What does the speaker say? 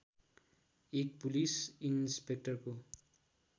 एक पुलिस इन्सपेक्टरको